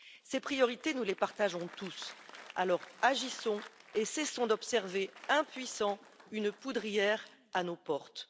Ces priorités, nous les partageons tous, alors agissons et cessons d'observer impuissants une poudrière à nos portes.